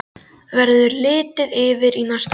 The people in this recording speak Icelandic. Verður litið yfir í næsta garð.